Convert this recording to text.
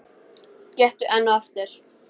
Gettu enn og aftur.